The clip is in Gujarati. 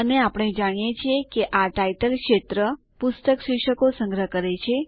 અને આપણે જાણીએ છીએ કે આ ટાઈટલ ક્ષેત્ર પુસ્તક શીર્ષકો સંગ્રહ કરે છે